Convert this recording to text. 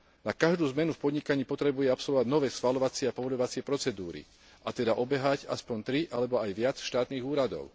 Na každú zmenu v podnikaní potrebuje absolvovať nové schvaľovacie a povoľovacie procedúry, a teda obehať aspoň tri alebo aj viac štátnych úradov.